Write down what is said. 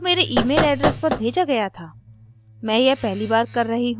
passwordजो मेरे email address पर भेजा गया था